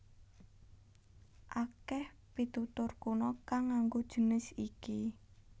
Akèh pitutur kuna kang nganggo jinis iki